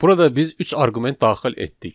Burada biz üç arqument daxil etdik.